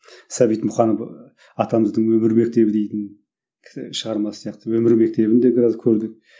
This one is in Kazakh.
сәбит мұқанов атамыздың өмір мектебі дейтін шығармасы сияқты өмір мектебін де біраз көрдік